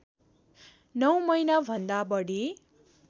९ महिनाभन्दा बढी